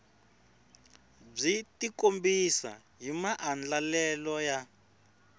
byi tikombisa hi maandlalelo ya